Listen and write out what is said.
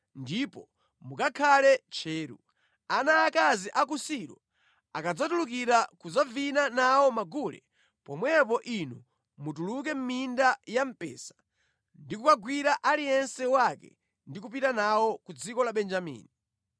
ndipo mukakhale tcheru. Ana aakazi a ku Silo akadzatulukira kudzavina nawo magule, pomwepo inu mutuluke minda ya mpesa ndi kukawagwira aliyense wake ndi kupita nawo ku dziko la Benjamini.